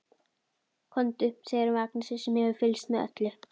Komdu, segir hún við Agnesi sem hefur fylgst með öllu.